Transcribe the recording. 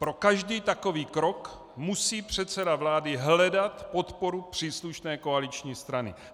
Pro každý takový krok musí předseda vlády hledat podporu příslušné koaliční strany."